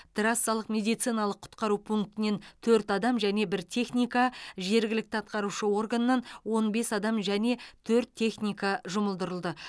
трассалық медициналық құтқару пунктінен төрт адам және бір техника жергілікті атқарушы органнан он бес адам және төрт техника жұмылдырылды